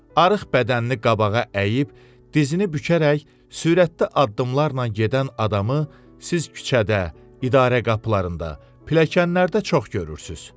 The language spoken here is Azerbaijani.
Arıq bədənini qabağa əyib, dizini bükərək, sürətli addımlarla gedən adamı siz küçədə, idarə qapılarında, pilləkənlərdə çox görürsünüz.